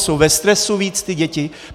Jsou ve stresu víc ty děti?